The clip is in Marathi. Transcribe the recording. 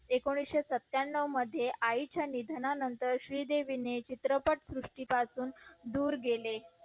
एकोणीशे सत्यानव मध्ये आई च्या निधना नंतर श्री देवी नि चित्रपट सृष्टी पासून दूर गेले